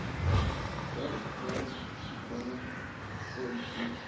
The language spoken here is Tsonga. gov pri xitsonga fal p